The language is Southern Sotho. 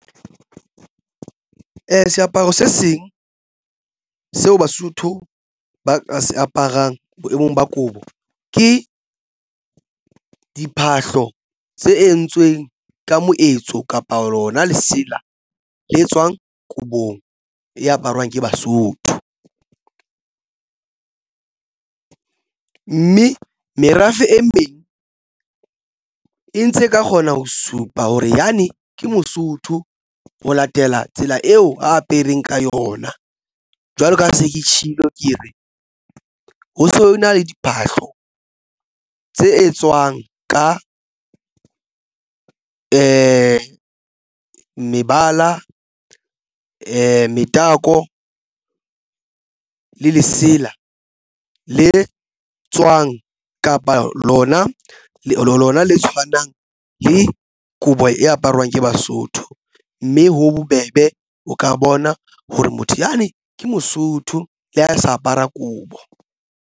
Seaparo se seng seo Basotho ba ka se aparang boemong ba kobo ke diphahlo tse entsweng ka moetso kapa lona lesela le tswang kobong e aparwang ke Basotho, mme merafe e meng e ntse e ka kgona ho supa hore yane ke Mosotho ho latela tsela eo a apereng ka yona. Jwalo ka ha se ke tshilo ke re ho na le diphahlo tse etswang ka mebala, metakole lesela le tswang kapa lona lona le tshwanang le kobo e aparwang ke Basotho, mme ho bobebe o ka bona hore motho yane ke Mosotho le ha sa apara kobo.